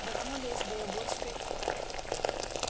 давно ли из белогорской